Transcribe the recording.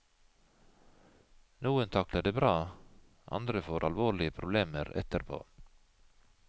Noen takler det bra, andre får alvorlige problemer etterpå.